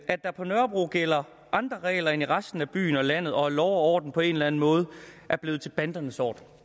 at der på nørrebro gælder andre regler end i resten af byen og resten af landet og at lov og orden på en eller anden måde er blevet til bandernes orden